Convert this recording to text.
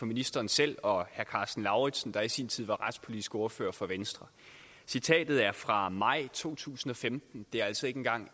ministeren selv og herre karsten lauritzen der i sin tid var retspolitisk ordfører for venstre citatet er fra maj to tusind og femten det er altså ikke engang